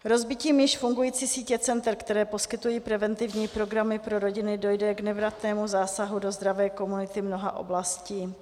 Rozbitím již fungující sítě center, která poskytují preventivní programy pro rodiny, dojde k nevratnému zásahu do zdravé komunity mnoha oblastí.